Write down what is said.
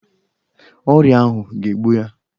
Ọrịa ahụ ga-egbu ya